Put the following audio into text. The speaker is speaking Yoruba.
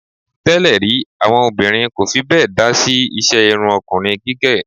Tẹ́lè rí, àwọn obìnrin kò fi bẹ́ẹ̀ dá sí iṣẹ́ irun ọkùnrin gígẹ̀.